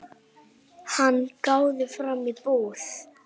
Hann gáði fram í búð.